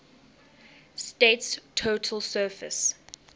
state's total surface